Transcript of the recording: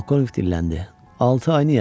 Polkovnik dilləndi: Altı ay niyə?